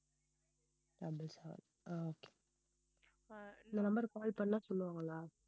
double seven ah okay இந்த number க்கு call பண்ணா சொல்லுவாங்களா